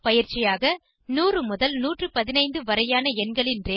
பயிற்சியாக 100 முதல் 115 வரையான எண்களின் ரங்கே